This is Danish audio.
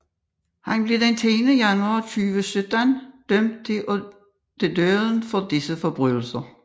Han blev den 10 januar 2017 dømt til døden for disse forbrydelser